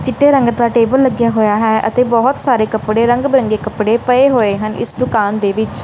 ਚਿੱਟੇ ਰੰਗ ਦਾ ਟੇਬਲ ਲੱਗਿਆ ਹੋਇਆ ਹੈ ਅਤੇ ਬਹੁਤ ਸਾਰੇ ਕੱਪੜੇ ਰੰਗ ਬਿਰੰਗੇ ਕੱਪੜੇ ਪਏ ਹੋਏ ਹਨ ਇਸ ਦੁਕਾਨ ਦੇ ਵਿੱਚ।